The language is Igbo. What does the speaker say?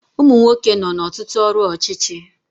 Umunwoke nọ na Ọtụtụ ọrụ ọchịchị